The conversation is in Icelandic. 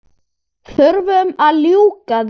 Þurfum að ljúka því.